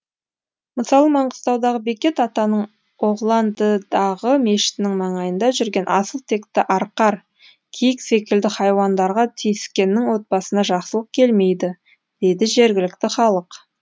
мысалы маңғыстаудағы бекет атаның оғландыдағы мешітінің маңайында жүрген асыл текті арқар киік секілді хайуандарга тиіскеннің отбасына жақсылық келмейді дейді жергілікті халық